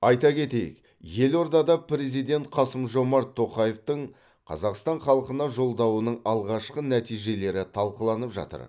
айта кетейік елордада президент қасым жомарт тоқаевтың қазақстан халқына жолдауының алғашқы нәтижелері талқыланып жатыр